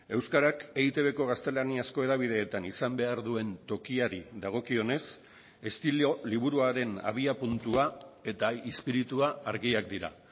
euskarak eitbko gaztelaniazko hedabideetan izan behar duen tokiari dagokionez estilo liburuaren abiapuntua eta espiritua argiak dira